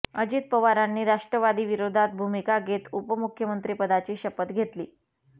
अजित पवारांनी राष्ट्रवादी विरोधात भूमिका घेत उपमुख्यमंत्रीपदाची शपथ घेतली